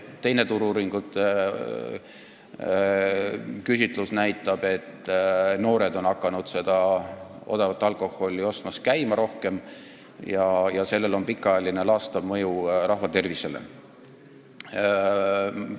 Teine Turu-uuringute küsitlus näitab, et noored on odavat alkoholi rohkem ostma hakanud, ja sellel on pikaajaline laastav mõju rahva tervisele.